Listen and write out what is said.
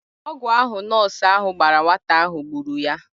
Ọgwụ ahụ nọọsụ ahụ gbara nwata ahụ gburu ya.